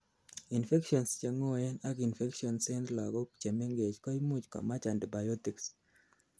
infections cheng'oen ak infections en lagok chemengech koimuch komach antibiotics